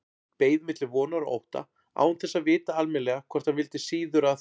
Beið milli vonar og ótta, án þess að vita almennilega hvort hann vildi síður að